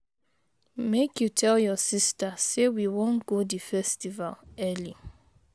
Make you tell your sista say we wan go di festival early.